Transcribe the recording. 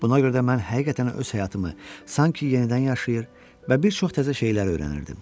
Buna görə də mən həqiqətən öz həyatımı sanki yenidən yaşayır və bir çox təzə şeylər öyrənirdim.